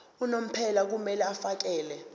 unomphela kumele afakele